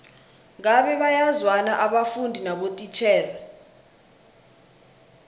ngabe bayazwana abafundi nabotitjhere